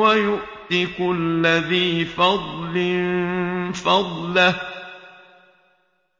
وَيُؤْتِ كُلَّ ذِي فَضْلٍ فَضْلَهُ ۖ